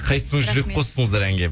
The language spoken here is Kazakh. қайсын жүрек қостыңыздар әнге